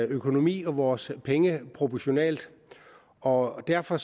økonomi og vores penge proportionalt og derfor